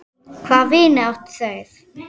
Hvaða vini áttu þær?